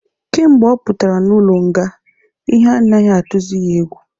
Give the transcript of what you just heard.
Kemgbe ọ pụtara n'ụlọ nga, ihe anaghị atuzi ya egwu